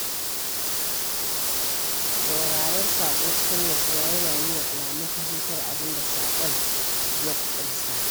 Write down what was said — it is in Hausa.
Sauraron saƙo cikin nutsuwa yana nuna alamun fahimtar abin da saƙon ya ƙunsa.